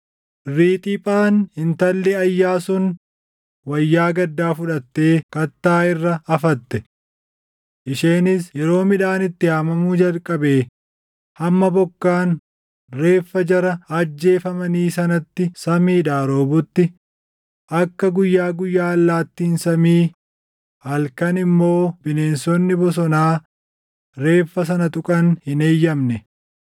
Riixiphaan intalli Ayyaa sun wayyaa gaddaa fudhattee kattaa irra afatte. Isheenis yeroo midhaan itti haamamuu jalqabdee hamma bokkaan reeffa jara ajjeefamanii sanatti samiidhaa roobutti akka guyyaa guyyaa allaattiin samii halkan immoo bineensonni bosonaa reeffa sana tuqan hin eeyyamne.